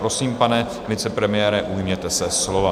Prosím, pane vicepremiére, ujměte se slova.